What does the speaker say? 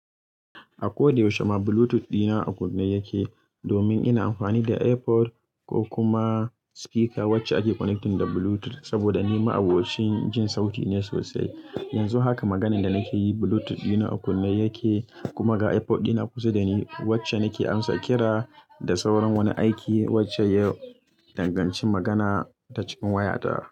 A ko da yaushe ma Bluetooth dina a kunne yake, domin ina amfani da AirPod ko kuma speaker wacce ake connecting da Bluetooth. Saboda ni ma'abocin jin sauti ne sosai. Yanzu haka maganan da nake yi Bluetooth dina a kunne yake kuma ga AirPod dina kusa da ni wacce nake amsa kira da sauran wani aiki wacce ya danganci magana ta cikin waya ta.